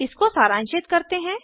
इसको सारांशित करते हैं